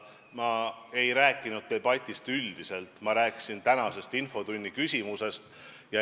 Ma ei rääkinud debatist üldiselt, ma rääkisin tänasest infotunni küsimusest.